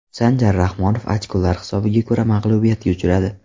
Sanjar Rahmonov ochkolar hisobiga ko‘ra mag‘lubiyatga uchradi.